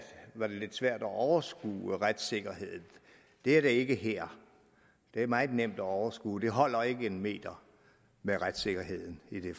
var det lidt svært at overskue retssikkerheden det er det ikke her det er meget nemt at overskue det holder ikke en meter med retssikkerheden i det